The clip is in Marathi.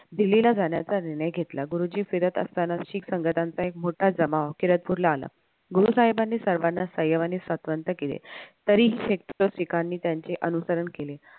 दिल्लीला जाण्याचा निर्णय घेतला गुरुजी फिरत असताना शीख संघटांचा एक मोठा जमाव केरदपूरला आला गुरुसाहेबानी सर्वाना सय्यम आणि सात्त्वन्त केले तरीही त्यांचे अनुसरण केले